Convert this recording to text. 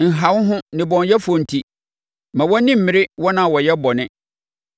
Nha wo ho nnebɔneyɛfoɔ nti; mma wʼani mmere wɔn a wɔyɛ bɔne;